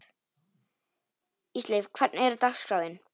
Ísleif, hvernig er dagskráin?